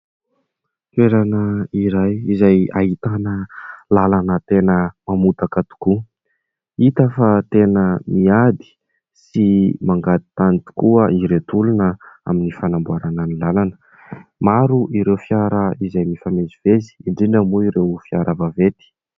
Toerana iray izay ahitana lalana tena mamotaka tokoa. Hita fa tena miady sy mangady tany tokoa ireto olona amin'ny fanamboarana ny lalana. Maro ireo fiara izay mifamezivezy, indrindra moa ireo fiara vaventy.